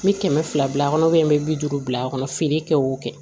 N bɛ kɛmɛ fila bila a kɔnɔ n bɛ bi duuru bila a kɔnɔ feere kɛ o kɛ